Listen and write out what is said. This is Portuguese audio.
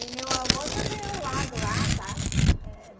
E meu avô também ao lado lá, sabe? Eh